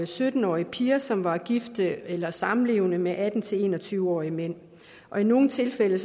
sytten årige piger som var gift eller samlevende med atten til en og tyve årige mænd i nogle tilfælde